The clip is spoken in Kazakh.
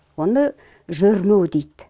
оны жөрмеу дейді